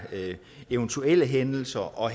eventuelle hændelser og